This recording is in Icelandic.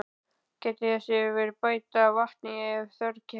Gætið þess að bæta í vatni ef þörf krefur.